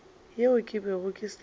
yeo ke bego ke sa